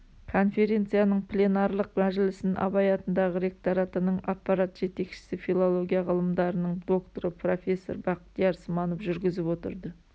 конференцияның пленарлық мәжілісін абай атындағы ректоратының аппарат жетекшісі филология ғылымдарының докторы профессор бақтияр сманов жүргізіп отырды